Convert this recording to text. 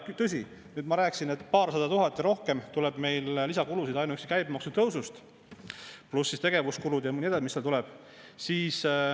Tõsi, ma rääkisin, et paarsada tuhat ja rohkem tuleb meil lisakulusid ainuüksi käibemaksu tõusust, pluss tegevuskulud ja nii edasi, mis seal tuleb.